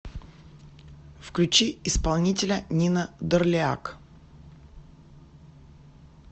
включи исполнителя нина дорлиак